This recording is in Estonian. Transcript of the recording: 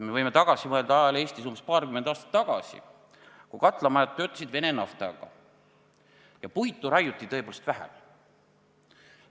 Me võime tagasi mõelda ajale Eestis umbes paarkümmend aastat tagasi, kui katlamajad töötasid Vene naftaga ja puitu raiuti tõepoolest vähem.